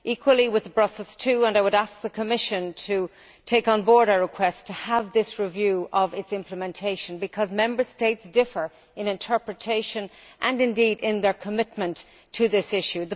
Equally with Brussels II and I would ask the Commission to take on board our request to have this review of its implementation, because Member States differ in interpretation, and indeed in their commitment to this issue.